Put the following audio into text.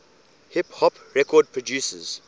hip hop record producers